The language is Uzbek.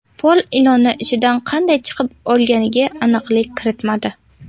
Pol ilonning ichidan qanday chiqib olganiga aniqlik kiritmadi.